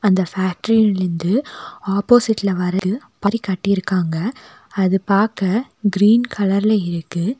அந்த ஃபேக்டரிலிருந்து ஆப்போசிட்ல வரது கட்டிருக்காங்க அது பாக்க கிரீன் கலர்ல இருக்கு.